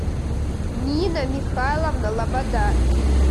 нина михайловна лобода